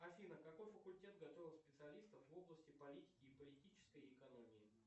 афина какой факультет готовит специалистов в области политики и политической экономии